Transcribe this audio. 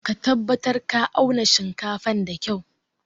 Ka tabatar ka auna shinkafan da kyua!